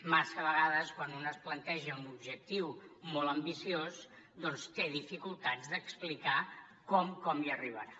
massa vegades quan un es planteja un objectiu molt ambiciós doncs té dificultats d’explicar com hi arribarà